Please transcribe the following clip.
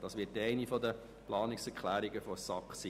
Dies ist der Inhalt einer der Planungserklärungen der SAK.